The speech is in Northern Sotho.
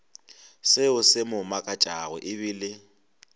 seo se mo makatšago ebile